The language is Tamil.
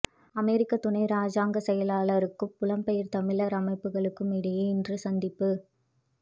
அமெரிக்க துணை ராஜாங்கச் செயலாளருக்கும் புலம்பெயர் தமிழர் அமைப்புக்களுக்கும் இடையே இன்று சந்திப்பு